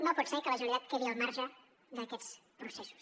no pot ser que la generalitat quedi al marge d’aquests processos